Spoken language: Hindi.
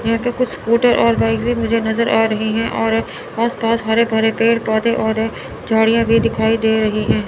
यह पे कुछ स्कूटर और बाइक भी मुझे नज़र आ रहे हैं और आस पास हरे भरे पेड़ पौधे और झाड़ियां भी दिखाई दे रही हैं।